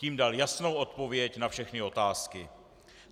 Tím dal jasnou odpověď na všechny otázky.